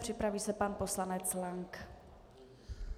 Připraví se pan poslanec Lank.